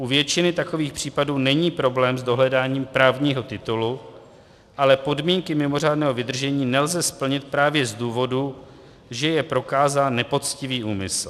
U většiny takových případů není problém s dohledáním právního titulu, ale podmínky mimořádného vydržení nelze splnit právě z důvodu, že je prokázán nepoctivý úmysl.